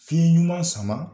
Fiɲɛ ɲuman sama